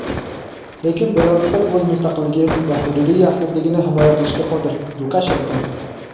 lekin belaruslar o‘z mustaqilligi va hududiy yaxlitligini himoya qilishga qodir – Lukashenko.